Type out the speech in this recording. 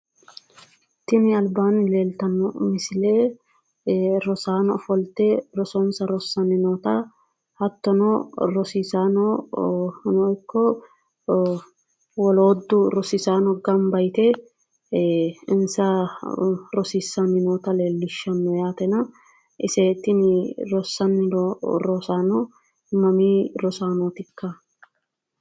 Tinni albaanni leeltano misile rosaano ofolte rosonsa rosaanni noota hattono rosaanono ikko wolootu rosiisaano gamba yite insa rosiisanni noota leelishano yatenna ise tinni rosanni noo rosaano mamii rosaanootikka?